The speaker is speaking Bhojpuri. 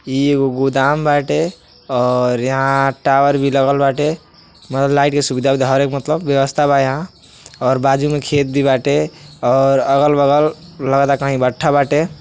इ एगो गोदाम बाटे और यहाँं टावर भी लगल बाटे मने लाइट के सुविधा ऊविधा हरेएक मतलब हर एक व्यवस्था और बाजु में खेत भी बाटे और अगल-बगल लगता कहीं भट्टा बाटे।